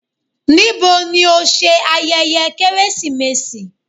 Níbó ní o ṣẹ̀ ayẹyẹ Keresimesi?